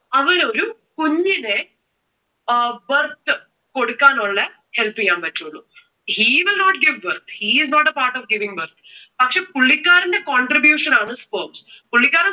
അവന് ഒരു കുഞ്ഞിനെ അഹ് birth കൊടുക്കാനുള്ള help ചെയ്യുവാൻ പറ്റുവൊള്ളൂ. He will not give birth. He is not a part of giving birth. പക്ഷെ പുള്ളിക്കാരന്റെ contribution ആണ് sperms. പുള്ളിക്കാരൻ